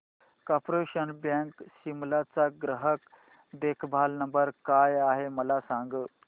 corporation bank Shimla चा ग्राहक देखभाल नंबर काय आहे मला सांग